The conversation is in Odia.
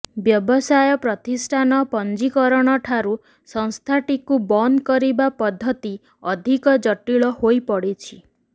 ବ୍ୟବସାୟ ପ୍ରତିଷ୍ଠାନ ପଞ୍ଜିକରଣଠାରୁ ସଂସ୍ଥାଟିକୁ ବନ୍ଦ କରିବା ପଦ୍ଧତି ଅଧିକ ଜଟିଳ ହୋଇପଡିଛି